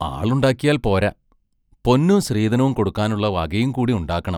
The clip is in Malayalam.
ആളുണ്ടാക്കിയാൽ പോരാ, പൊന്നും സ്ത്രീധനോം കൊടുക്കാനുള്ള വകയും കൂടി ഉണ്ടാക്കണം.